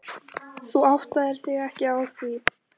Þú áttaðir þig ekki á því.